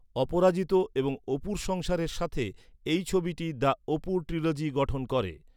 অপরাজিত এবং অপুর সংসারের সাথে এই ছবিটি দ্য অপু ট্রিলজি গঠন করে।